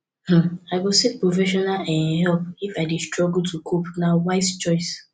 um i go seek professional um help if i dey struggle to cope na wise choice